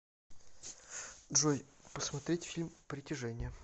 джой посмотреть фильм притяжение